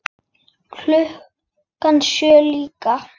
Klukkan sjö líka.